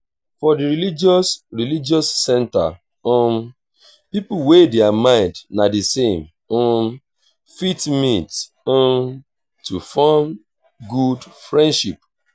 for di religious religious centers um pipo wey their mind na di same um fit meet um to forn good friendship